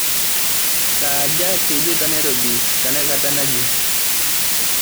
saaja teidie tenairobi tenakata nji